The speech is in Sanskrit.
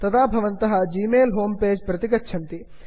तदा भवन्तः ग्मेल जिमेल् होम् पेज् प्रति गच्छन्ति